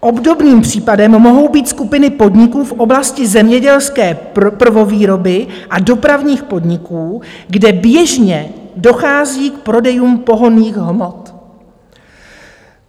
Obdobným případem mohou být skupiny podniků v oblasti zemědělské prvovýroby a dopravních podniků, kde běžně dochází k prodejům pohonných hmot.